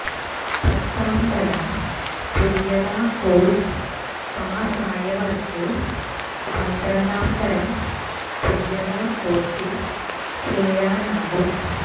പത്താം തരം തുല്യതാ കോഴ്സ് പാസ്സായവർക്ക് പന്ത്രണ്ടാം തരം തുല്യതാ കോഴ്സിൽ ചേരാനാകും